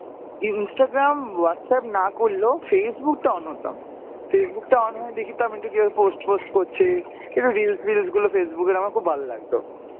Instagram, Whatsapp না করলেও Facebook টা on হতাম, Facebook টায় on হয়ে দেখতাম একটু কেউ কিছু post ফোস্ট করছে, একটু reels ফিলস গুলো Facebook এর আমার খুব ভালো লাগত।